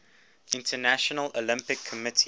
international olympic committee